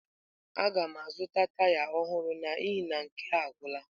Aga m azụta taya ọhụrụ n'ihi na nke a agwụla.